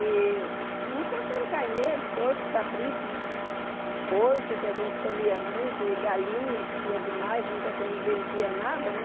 E não contando carneiro, porco, cabrito, porco que a gente comia muito e galinha que tinha demais, nunca a gente não vendia nada, né?